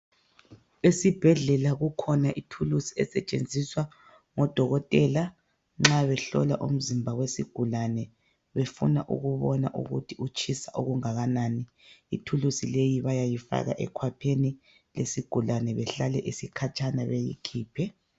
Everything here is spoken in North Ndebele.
Esibhedlela kukhona ithulusi esetshenziswa ngodokotela nxa behlola umzimba wesigulane befuna ukubona ukuthi utshisa okungakanani. Ithulusi leyi bayayifaka ekhwapheni lesigulane behlale isikhatshana beyikhiphe.